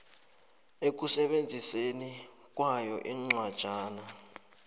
ekusebenziseni kwayo incwajana